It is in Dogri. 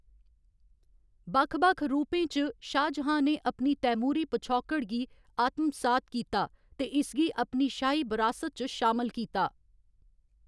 बक्ख बक्ख रूपें च, शाहजहां ने अपनी तैमूरी पछौकड़ गी आत्मसात कीता ते इसगी अपनी शाही बरासत च शामल कीता।